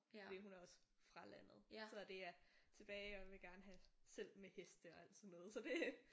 Fordi hun er også fra landet så det er tilbage og vil gerne have selv med heste og altså sådan noget så det